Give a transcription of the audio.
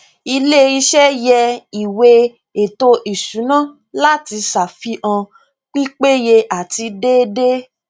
ilé iṣẹ yẹ ìwé ètò ìsúná láti ṣàfihàn pípéye àti déédéé